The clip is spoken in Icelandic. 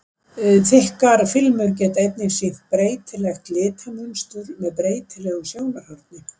Þykkar filmur geta einnig sýnt breytilegt litamynstur með breytilegu sjónarhorni.